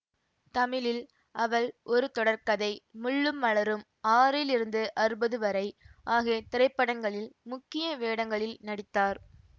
தமிழில் அவள் ஒரு தொடர்கதை முள்ளும் மலரும் ஆறிலிருந்து அறுபது வரை ஆகிய திரைப்படங்களில் முக்கிய வேடங்களில் நடித்தார்